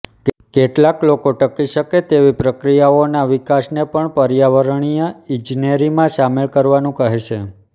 કેટલાક લોકો ટકી શકે તેવી પ્રક્રિયાઓના વિકાસને પણ પર્યાવરણીય ઇજનેરીમાં સામેલ કરવાનું કહે છે